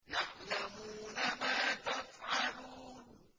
يَعْلَمُونَ مَا تَفْعَلُونَ